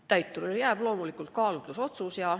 Täiturile jääb loomulikult kaalutlusõigus.